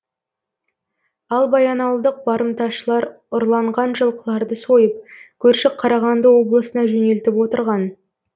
ал баянауылдық барымташылар ұрланған жылқыларды сойып көрші қарағанды облысына жөнелтіп отырған